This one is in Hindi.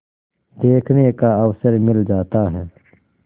देखने का अवसर मिल जाता है